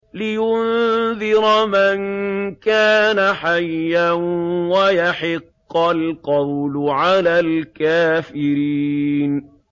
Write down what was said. لِّيُنذِرَ مَن كَانَ حَيًّا وَيَحِقَّ الْقَوْلُ عَلَى الْكَافِرِينَ